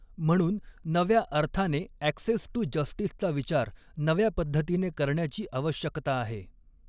म्हणून नव्या अर्थाने ॲक्सेस टू जस्टीसचा विचार नव्या पद्धतीने करण्याची आवश्यकता आहे.